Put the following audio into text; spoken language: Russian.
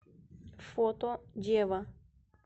фото дева